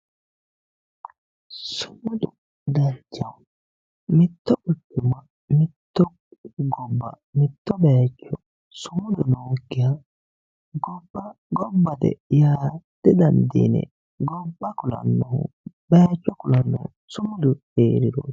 Sumudu danchaho, mitto guchuma mitto bayicho mitto gobba sumudu noyikkiha gobba gobbate yaa didandiinanni ,yinne gobba kulanohu bayicho kulanohu sumudu heeriroti.